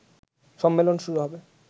সম্মেলন শুরু হবে